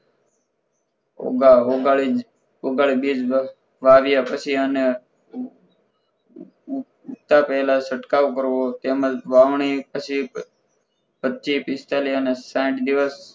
ઉગા ઉગા ઉગાડીને બીજ વાવ્યા પછી અને ઉ ઊગતા પહેલા છટકાવ કરવો તેમજ વાવણી પછી વચ્ચે પચીસ પિસ્તાળીસ અને સાહીઠ દિવસ